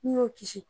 N'i y'o kisi